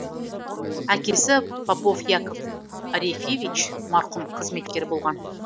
әкесі попов яков арефьевич марқұм қызметкер болған